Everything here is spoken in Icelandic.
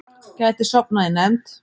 Gæti sofnað í nefnd